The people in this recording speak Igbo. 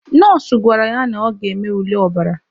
Nọọsụ gwara ya na ọ ga-eme ule ọbara.